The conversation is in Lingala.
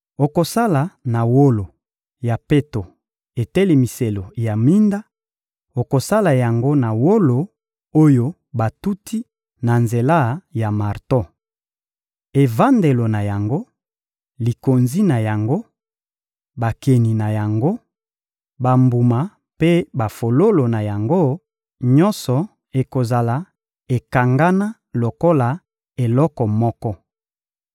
Okosala na wolo ya peto etelemiselo ya minda; okosala yango na wolo oyo batuti na nzela ya marto. Evandelo na yango, likonzi na yango, bakeni na yango, bambuma mpe bafololo na yango, nyonso ekozala ekangana lokola eloko moko.